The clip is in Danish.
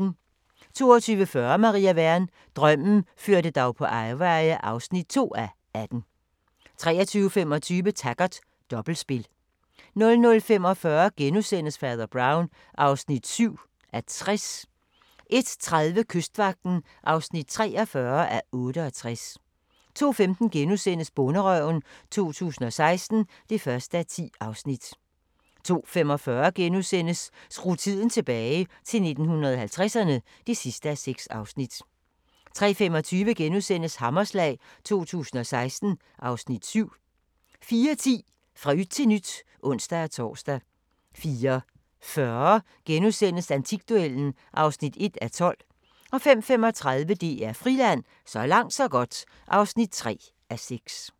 22:40: Maria Wern: Drømmen førte dig på afveje (2:18) 23:25: Taggart: Dobbeltspil 00:45: Fader Brown (7:60)* 01:30: Kystvagten (43:68) 02:15: Bonderøven 2016 (1:10)* 02:45: Skru tiden tilbage – til 1950'erne (6:6)* 03:25: Hammerslag 2016 (Afs. 7)* 04:10: Fra yt til nyt (ons-tor) 04:40: Antikduellen (1:12)* 05:35: DR Friland: Så langt så godt (3:6)